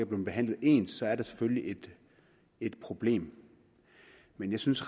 blevet behandlet ens så er det selvfølgelig et problem men jeg synes